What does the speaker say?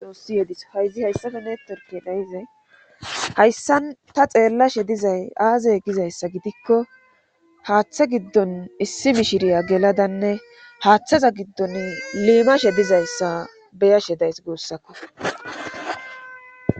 Doossi yedis hayzi hayssafe neetorke nayize hayssan ta xeellashe dizay aaze gizayssa gidikko haaththa giddon issi mishiriya geladanne haaththaza giddon liimashe dizayssa beyashe days guussakko.